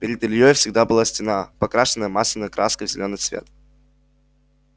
перед ильёй всегда была стена покрашенная масляной краской в зелёный цвет